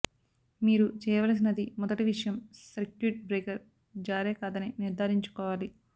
మీరు చేయవలసినది మొదటి విషయం సర్క్యూట్ బ్రేకర్ జారే కాదని నిర్ధారించుకోవాలి